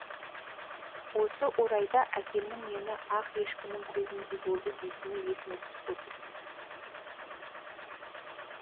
осы орайда әкемнің мені ақ ешкінің көзіндей болды дейтіні есіме түсіп отыр